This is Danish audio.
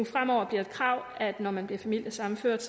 fremover bliver et krav at når man bliver familiesammenført